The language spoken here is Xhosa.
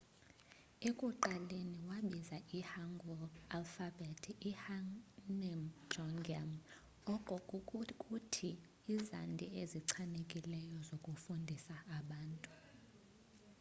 ekuqaleni wabiza i-hangeul alfabhethi i-hunmin jeongeum oko kukuthi izandi ezichanekileyo zokufundisa abantu